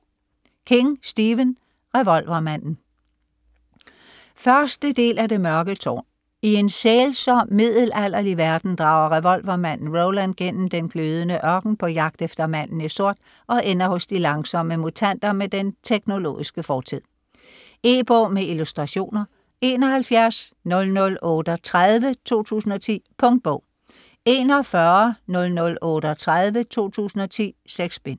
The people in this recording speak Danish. King, Stephen: Revolvermanden 1. del af Det mørke tårn. I en sælsom middelalderlig verden drager revolvermanden Roland gennem den glødende ørken på jagt efter manden i sort og ender hos de langsomme mutanter med den teknologiske fortid. E-bog med illustrationer 710038 2010. Punktbog 410038 2010. 6 bind.